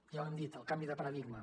ja ho hem dit el canvi de paradigma